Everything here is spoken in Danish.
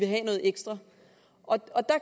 have noget ekstra og der